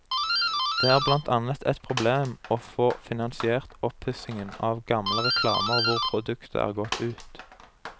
Det er blant annet et problem å få finansiert oppussingen av gamle reklamer hvor produktet er gått ut.